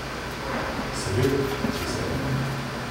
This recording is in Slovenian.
Seveda, z veseljem.